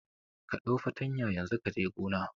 Ka ɗau fartanya yanzu kaje gona